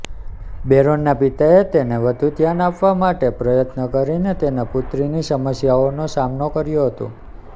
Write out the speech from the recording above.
બેરોનના પિતાએ તેને વધુ ધ્યાન આપવા માટે પ્રયત્ન કરીને તેના પુત્રની સમસ્યાઓનો સામનો કર્યો હતો